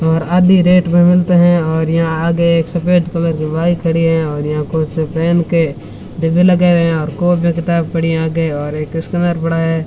और आधी रेट में मिलते हैं और यहां आगे एक सफेद कलर की बाइक खड़ी है और यहां कुछ पेन के डिब्बे लगे हुए हैं कॉपी किताब पड़ी है आगे और एक स्कैनर पड़ा है।